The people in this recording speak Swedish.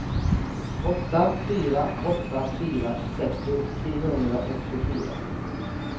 åtta fyra åtta fyra sextio trehundraåttiofyra